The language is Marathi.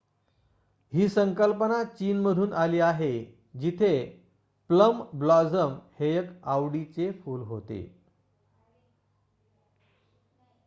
ही संकल्पना चीनमधून आली आहे जिथे प्लम ब्लॉसम हे एक आवडीचे फूल होते